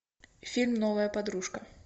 фильм новая подружка